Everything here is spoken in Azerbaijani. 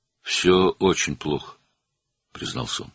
"Hər şey çox pisdir," o etiraf etdi.